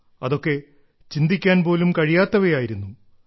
അതൊക്കെ ചിന്തിക്കാൻ പോലും കഴിയാത്തവയായിരുന്നു